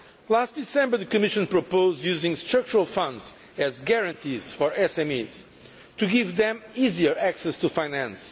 Last December, the Commission proposed using Structural Funds as guarantees for SMEs, to give them easier access to finance.